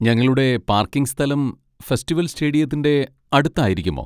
ഞങ്ങളുടെ പാർക്കിംഗ് സ്ഥലം ഫെസ്റ്റിവൽ സ്റ്റേഡിയത്തിന്റെ അടുത്ത് ആയിരിക്കുമോ?